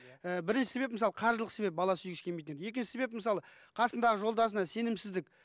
і бірінші себеп мысалы қаржылық себеп бала сүйгісі келмейтіндер екінші себеп мысалы қасындағы жолдасына сенімсіздік